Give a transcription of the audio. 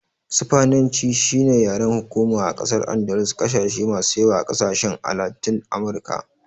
Sifaniyanci shine yaren hukuma a ƙasar Andalus da ƙasashen masu yawa a ƙasashen a Latin Amurka.